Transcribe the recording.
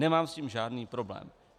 Nemám s tím žádný problém.